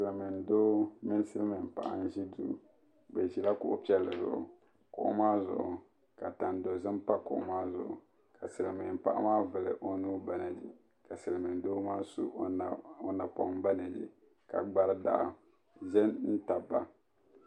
Silimiindoo mini silimiinpaɣa n ʒi kpe bɛ ʒila kuɣu piɛlli zuɣu kuɣu maa zuɣu ka tandozim pa di zuɣu ka silimiinpaɣa maa vuli o nuu banagi ka silimiindoo su o napɔŋ banagi ka gbari daɣu do n tabi ba.